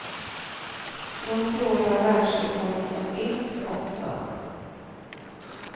Då slår jag världsrekord som yngst också.